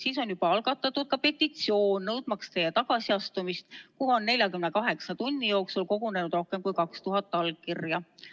Siis on juba algatatud petitsioon, nõudmaks teie tagasiastumist, sinna on 48 tunni jooksul kogunenud rohkem kui 2000 allkirja.